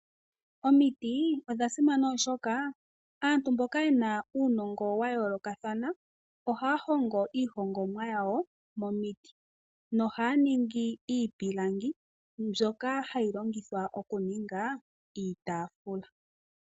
Omiti odha simana oshoka aantu mboka ye na uunongo wa yolokathana ohaya hongo iihongomwa yawo momiti nohaya ningi iipilangi mbyoka hayi longithwa okuninga iitafula.